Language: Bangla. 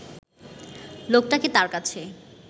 লোকটাকে তার কাছে